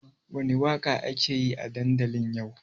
Wani waƙa ake yi a dandali yau?